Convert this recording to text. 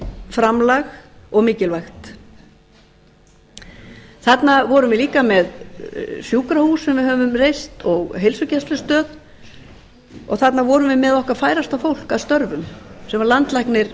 framlag og mikilvægt þarna vorum við líka með sjúkrahús sem við höfum reynt og heilsugæslustöð og þarna vorum við með okkar færasta fólk að störfum sem landlæknir